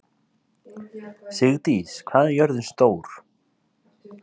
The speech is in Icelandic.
Sigdís, hvað er jörðin stór?